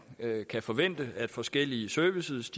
kan forvente at forskellige services